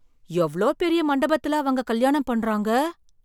எவ்ளோ பெரிய மண்டபத்துல அவங்க கல்யாணம் பண்றாங்க!